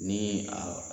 Ni a